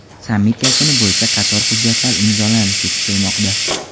Sammit yakuni bo‘yicha qator hujjatlar imzolanishi kutilmoqda.